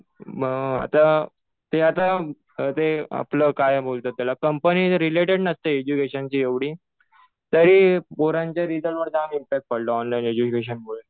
मग आता ते आता ते आपलं काय बोलतात त्याला कंपनी रिलेटेड नसते एज्युकेशनशी एवढी. तरी पोरांच्या रिजल्टवर जाम इम्पॅक्ट पडला, ऑनलाईन एज्युकेशनमुळे.